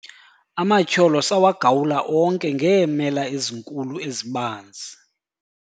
amatyholo sawagawula onke ngeemela ezinkulu ezibanzi